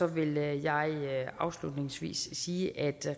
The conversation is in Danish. vil jeg afslutningsvis sige at